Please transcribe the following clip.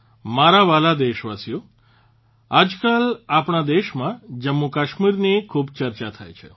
મારા વહાલા દેશવાસીઓ આજકાલ આપણા દેશમાં જમ્મુકશ્મીરની ખૂબ ચર્ચા થાય છે